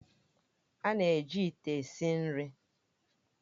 A na-eji ite esi nri